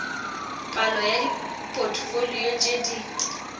palo ya dipotfolio tše di